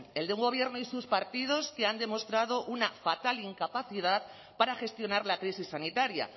el de un gobierno y sus partidos que han demostrado una fatal incapacidad para gestionar la crisis sanitaria